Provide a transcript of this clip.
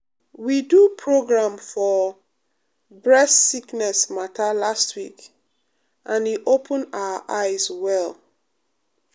we do um program for um bress sickness mata last week and e open our eyes well.